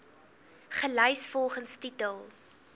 gelys volgens titel